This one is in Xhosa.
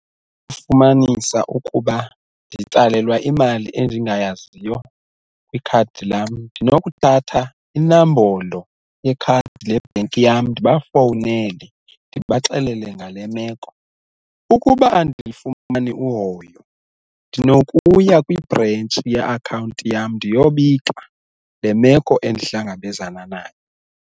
Ukufumanisa ukuba nditsalelwa imali endingayaziyo kwikhadi lam ndinokuthatha inombolo yekhadi lebhenki yam ndibafowunele ndibaxelele ngale meko, ukuba andilufumani uhoyo ndinokuya kwibhrentshi ye-akhawunti yam ndiyobika le meko endihlangabezana nayo.